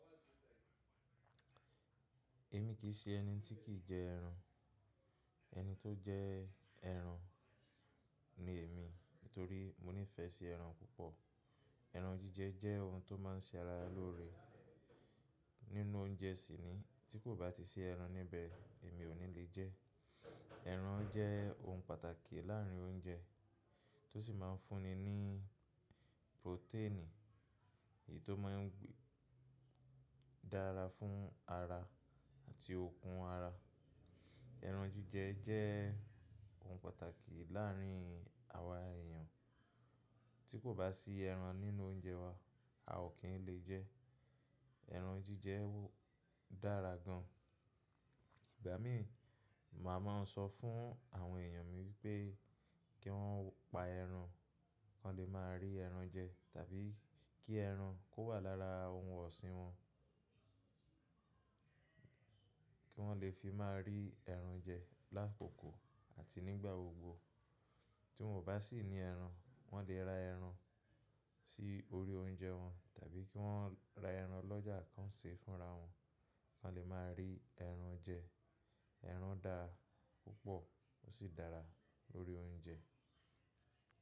Èmi kì í ṣe ẹni tí kì í jẹ ẹran. Ẹni tó jẹ ẹran ni èmi, nítorí mo nífẹ̀ẹ́ sí ẹran púpọ̀. Ẹran jíjẹ jẹ́ ohun tó máa ń ṣe ara lóore. Nínú oúnjẹ sì ni, tí kò bá ti sí ẹran níbẹ̀, èmi ò ní le jẹ. Ẹran jẹ́ ohun pàtàkì láàárín oúnjẹ, tó sì máa ń fún ni ní protein, èyí tó máa ń dára fún ara àti okun ara. Ẹran jíjẹ jẹ́ ohun pàtàkì láàárín àwa èèyàn. Tí kò bá sí ẹran nínú oúnjẹ wa, a ò kí n lè jẹ. Ẹran jíjẹ dára gan. Ìgbà mí, màá máa n sọ fún àwọn èèyàn mi wípé kí wọ́n pa ẹran, kan lè máa rí ẹran jẹ tàbí kí ẹran kó wà lára ohun ọ̀sìn wọn. Kí wọ́n lè fi máa rí ẹran jẹ lákòókò àti nígbà gbogbo. Tí wọ́n baá sì ní ẹran, wọ́n lè ra ẹran sí orí oúnjẹ wọn tàbí kí wọ́n ra ẹran lọ́jà kan ṣe fúnra wọn, kan lè máa rí ẹran jẹ. Ẹran dára púpọ̀ ó sì dára lórí oúnjẹ.